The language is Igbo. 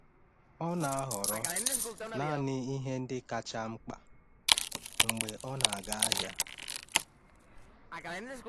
Ọ na-ahọrọ naanị ihe ndị kacha mkpa mgbe ọ na-aga ahịa.